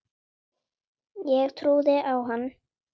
Ég trúði á hann.